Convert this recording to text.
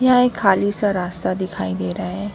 यहां एक खाली सा रास्ता दिखाई दे रहा है।